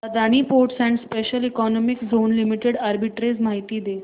Adani ports and special economic zone limited arbitrage माहिती दे